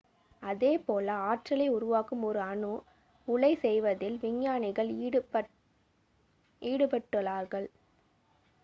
அதே போல ஆற்றலை உருவாக்கும் ஒரு அணு உலை செய்வதில் விஞ்ஞானிகள் ஈடுபட்டுள்ளார்கள்